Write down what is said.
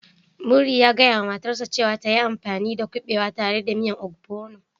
Muri ya gaya wa matarsa ​​cewa ta yi amfani dakuɓewa tare da miyan ogbono